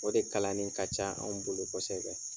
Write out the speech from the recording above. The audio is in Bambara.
O de kalani ka ca anw bolo kosɛbɛ.